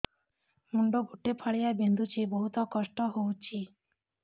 ମୁଣ୍ଡ ଗୋଟେ ଫାଳିଆ ବିନ୍ଧୁଚି ବହୁତ କଷ୍ଟ ହଉଚି